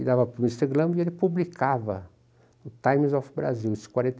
E dava para o mister e ele publicava o Times of Brazil, isso em quarenta e